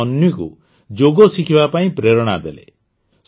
ସେମାନେ ଅନ୍ୱୀକୁ ଯୋଗ ଶିଖିବା ପାଇଁ ପ୍ରେରଣା ଦେଲେ